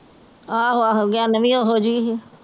ਆਹੋ ਆਹੋ ਗਿਆਨੋਂ ਵੀ ਓਹੋ ਜਹੀ ਸੀ